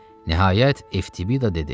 Nəhayət Eftibida dedi: